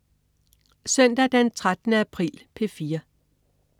Søndag den 13. april - P4: